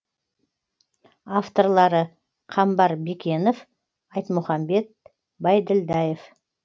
авторлары қамбар бекенов айтмұхамбет байділдаев